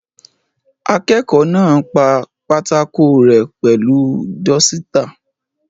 Akẹ́kọ̀ọ́ náà pa pátákò rẹ́ pẹ̀lú dọ́sítà.